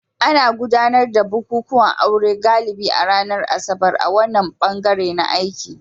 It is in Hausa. Ana gudanar da bukukuwan aure galibi a ranar Asabar a wannan bangare na t aiki